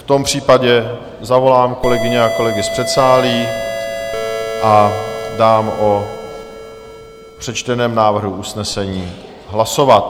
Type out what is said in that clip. V tom případě zavolám kolegyně a kolegy z předsálí a dám o přečteném návrhu usnesení hlasovat.